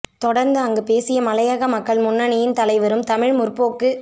தொடர்ந்து அங்கு பேசிய மலையக மக்கள் முன்னணியின் தலைவரும் தமிழ் முற்போக்கு